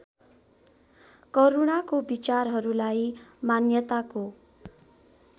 करूणाको विचारहरूलाई मान्यताको